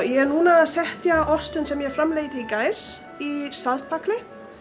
ég er núna að setja ostinn sem ég framleiddi í gær í saltpækil